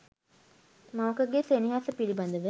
මවකගේ සෙනෙහස පිළිබඳව